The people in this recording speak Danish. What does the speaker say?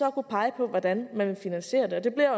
at kunne pege på hvordan man vil finansiere det det bliver